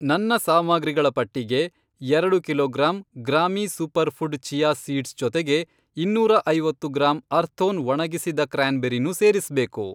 ನನ್ನ ಸಾಮಗ್ರಿಗಳ ಪಟ್ಟಿಗೆ, ಎರಡು ಕಿಲೋಗ್ರಾಮ್ ಗ್ರಾಮೀ ಸೂಪರ್ಫ಼ುಡ್ ಚಿಯಾ ಸೀಡ್ಸ್ ಜೊತೆಗೆ, ಇನ್ನೂರ ಐವತ್ತು ಗ್ರಾಂ ಅರ್ಥೋನ್ ಒಣಗಿಸಿದ ಕ್ರ್ಯಾನ್ಬೆರಿನೂ ಸೇರಿಸ್ಬೇಕು.